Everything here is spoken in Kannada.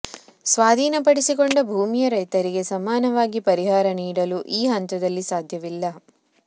ಸ್ವಾಧೀನ ಪಡಿಸಿಕೊಂಡ ಭೂಮಿಯ ರೈತರಿಗೆ ಸಮಾನವಾಗಿ ಪರಿಹಾರ ನೀಡಲು ಈ ಹಂತದಲ್ಲಿ ಸಾಧ್ಯವಿಲ್ಲ